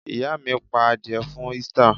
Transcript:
Ìyá mi pa adìẹ fún Easter!